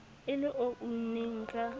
e le o unneng ka